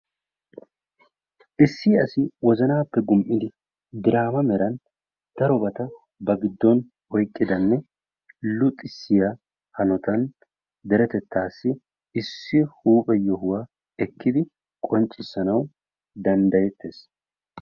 Issi asi wozannappe gum''idi diraama mera daroba ba giddon oyqqidanne luxissiya hanotan deretettassi issi huuphe yohuwa ekkidi qonccissanawu danddayetees.